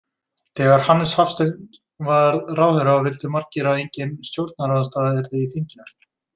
Þegar Hannes Hafstein varð ráðherra vildu margir að engin stjórnarandstaða yrði í þinginu.